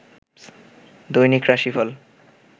দৈনিক রাশিফল